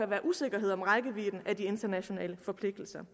være usikkerhed om rækkevidden af de internationale forpligtelser